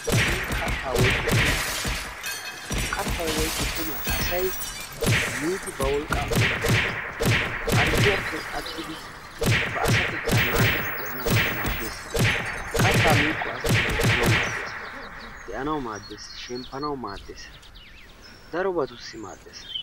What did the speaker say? Haggee kaatta woykko qumma. Ha kaattay woykko qummay asay miidi ba wolqqa oraxxiddi harggiyappe attidi ba asatetta naagidi de'anna mala maades. Kaatta miikko asay hemettanawu maades. de'annawu maades. shemppanawu maades. darobattusi maades.